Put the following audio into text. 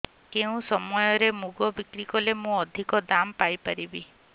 କେଉଁ ସମୟରେ ମୁଗ ବିକ୍ରି କଲେ ମୁଁ ଅଧିକ ଦାମ୍ ପାଇ ପାରିବି